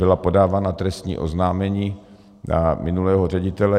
Byla podávána trestní oznámení na minulého ředitele.